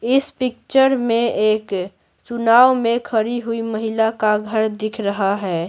इस पिक्चर में एक चुनाव में खड़ी हुई महिला का घर दिख रहा है।